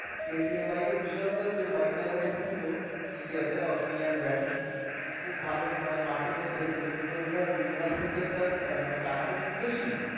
KTM bike এর বিষেশত্ত হচ্ছে bike টা যখন এসেছিলো India তে Australian brand খুব ভালো মানে market করতেছিলো কিন্তু এটার EMI system টা মানে টাকা তো খুব বেশি।